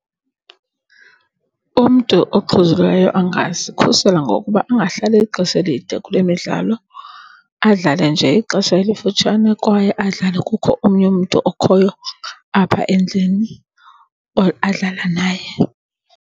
Umntu oxhuzulayo angazikhusela ngokuba angahlali ixesha elide kule midlalo, adlale nje ixesha elifutshane kwaye adlale kukho omnye umntu okhoyo apha endlini or adlala naye.